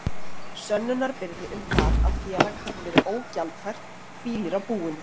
Sönnunarbyrði um það að félag hafi verið ógjaldfært hvílir á búinu.